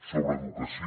sobre educació